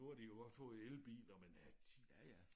Nu har de jo også fået elbiler men øh de øh